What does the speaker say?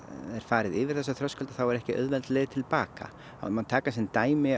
er farið yfir þessa þröskulda þá er ekki auðveld leið til baka það má taka sem dæmi